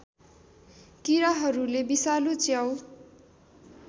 किराहरूले विषालु च्याउ